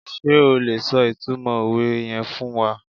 Sé o lè so ìtumọ̀ òwe yen fún wa?